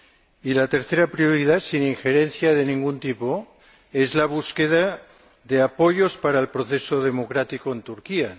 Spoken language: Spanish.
Y la tercera prioridad, sin injerencia de ningún tipo, es la búsqueda de apoyos para el proceso democrático en Turquía.